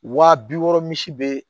Wa bi wɔɔrɔ misi be